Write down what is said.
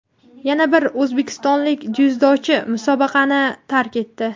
Yana bir o‘zbekistonlik dzyudochi musobaqani tark etdi.